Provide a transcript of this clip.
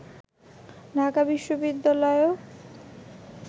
Dhaka বিশ্ববিদ্যালয়েও